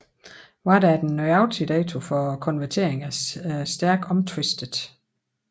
Hvad der er den nøjagtige dato for konverteringen er stærkt omtvistet